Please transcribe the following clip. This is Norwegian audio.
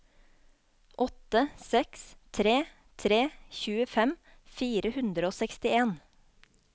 åtte seks tre tre tjuefem fire hundre og sekstien